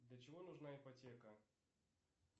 для чего нужна ипотека